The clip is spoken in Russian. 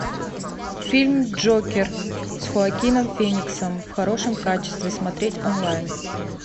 фильм джокер с хоакином фениксом в хорошем качестве смотреть онлайн